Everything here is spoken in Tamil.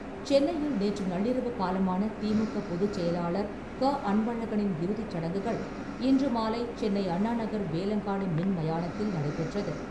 சென்னையில் நேற்று நள்ளிரவு காலமான திமுக பொதுச் செயலாளர் க. அன்பழகனின் இறுதிச் சடங்குகள் இன்று மாலை சென்னை அண்ணா நகர் வேலங்காடு மின் மயானத்தில் நடைபெற்றது.